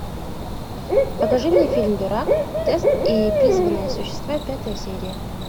покажи мне фильм дурак тест и призванные существа пятая серия